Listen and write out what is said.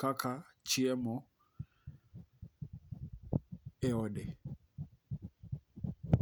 kaka chiemo e ode.